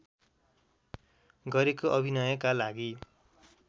गरेको अभिनयका लागि